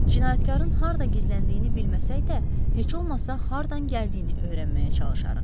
Cinayətkarın harda gizləndiyini bilməsək də, heç olmasa hardan gəldiyini öyrənməyə çalışarıq.